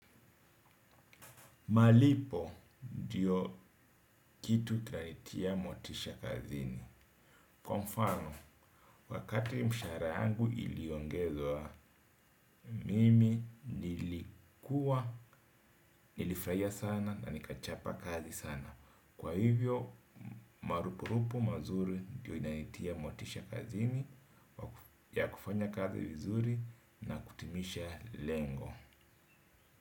Malipo, ndiyo kitu kanitia motisha kazini. Kwa mfano, wakati mshahara yangu iliongezwa mimi, nilikuwa, nilifurahia sana na nikachapa kazi sana. Kwa hivyo, marupurupu mazuri ndiyo inanitia motisha kazini ya kufanya kazi vizuri na kutimisha lengo.